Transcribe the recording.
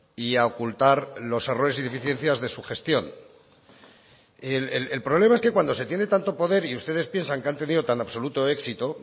y a ocultar los errores y deficiencias de su gestión el problema es que cuando se tiene tanto poder y ustedes piensan que han tenido tan absoluto éxito